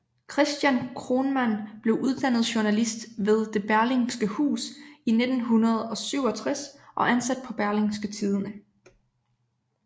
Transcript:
Christian Kronman blev uddannet journalist ved Det Berlingske Hus i 1967 og ansat på Berlingske Tidende